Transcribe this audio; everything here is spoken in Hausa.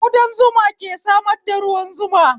Ƙudan zuma ke samar da ruwan zuma